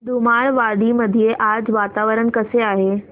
धुमाळवाडी मध्ये आज वातावरण कसे आहे